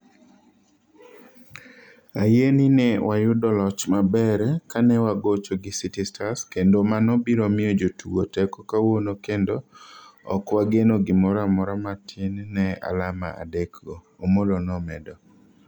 Ayie ni ne wayudo loch maber kanewagocho gi City Stars kendo mano biro miyo jotugo teko kawuono kendo ok wageno gimoro amora matin ne alama adekgo," Omollo nomedo.